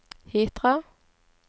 Hitra